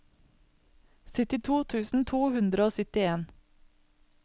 syttito tusen to hundre og syttien